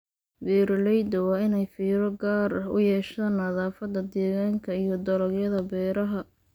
Beeralayda waa inay fiiro gaar ah u yeeshaan nadaafadda deegaanka iyo dalagyada beeraha.